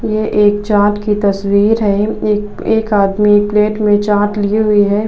ये एक चाट की तस्वीर है। एक एक आदमी प्लेट में चाट लिए हुए है।